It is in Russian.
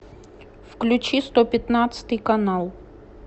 включи сто пятнадцатый канал